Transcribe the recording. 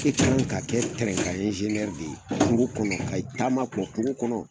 ka i kan ka kɛ de ye foro kɔnɔ ka taama ka wɔ foro kɔnɔ.